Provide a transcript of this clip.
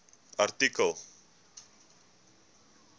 artikel